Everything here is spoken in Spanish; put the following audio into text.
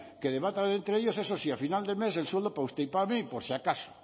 que debatan entre ellos eso sí a final de mes el sueldo para usted y para mí por si acaso